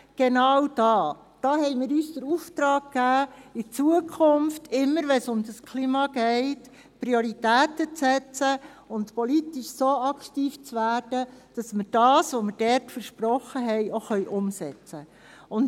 Genau da haben wir uns den Auftrag gegeben, in der Zukunft, immer, wenn es um das Klima geht, Prioritäten zu setzen und politisch so aktiv zu werden, dass wir das, was wir dort versprochen haben, auch umsetzen können.